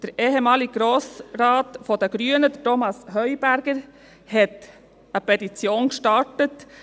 Der ehemalige Grossrat der Grünen, Thomas Heuberger, hat eine Petition gestartet.